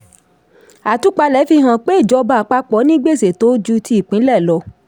àtúpalẹ̀ fi hàn pé ìjọba àpapọ̀ ní gbèsè tó ju ti ìpínlẹ̀ lọ.